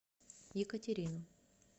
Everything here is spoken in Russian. екатерину